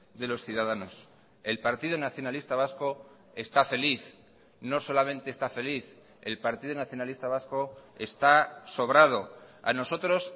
de los ciudadanos el partido nacionalista vasco está feliz no solamente está feliz el partido nacionalista vasco está sobrado a nosotros